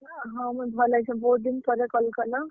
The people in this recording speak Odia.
ହଁ ମୁଇଁ ଭଲ୍ ଅଛେଁ, ବହୁତ୍ ଦିନ୍ ପରେ call କଲ!